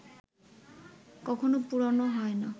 কখনো পুরোনো হয় না